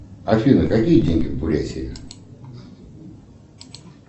афина какие деньги в бурятии